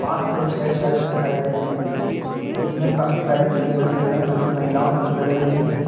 पांच से छह शायद दिखाई दे रहे हैं जिनमें काफी सारी क्रीम रखे हुए हैं जो की महिलाओं से जुड़े हुए भी हैं।